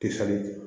Te falen